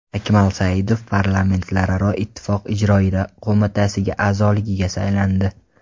Akmal Saidov Parlamentlararo Ittifoq Ijroiya qo‘mitasi a’zoligiga saylandi.